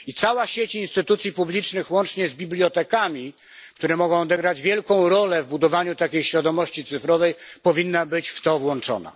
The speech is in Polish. I cała sieć instytucji publicznych łącznie z bibliotekami, które mogą odegrać wielką rolę w budowaniu takiej świadomości cyfrowej, powinna być w to włączona.